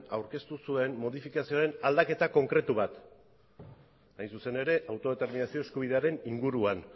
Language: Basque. aurkeztu zuen modifikazioaren aldaketa konkretu bat hain zuzen ere autodeterminazio eskubidearen inguruan